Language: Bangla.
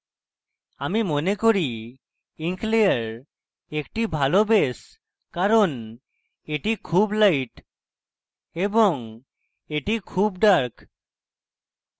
আমি মনে করি ink layer একটি ভালো base কারণ এটি খুব light এবং এটি খুব dark